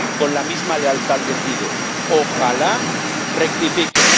Con la misma lealtad les digo ojalá rectifiquen.